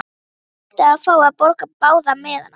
Hann heimtaði að fá að borga báða miðana.